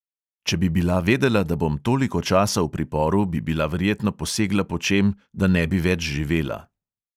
Če bi bila vedela, da bom toliko časa v priporu, bi bila verjetno posegla po čem, da ne bi več živela.